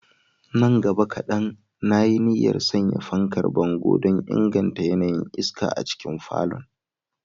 Nan gaba kadan, na yi niyyar sanya fankar bango don inganta yanayin iska a cikin falon.